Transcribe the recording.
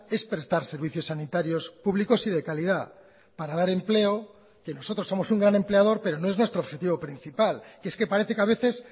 es prestar servicios sanitarios públicos y de calidad para dar empleo que nosotros somos un gran empleador pero no es nuestro objetivo principal que es que parece que a veces